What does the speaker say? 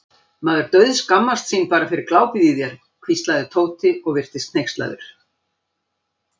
Maður dauðskammast sín bara fyrir glápið í þér hvíslaði Tóti og virtist hneykslaður.